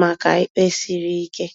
maka ikpe siri ike.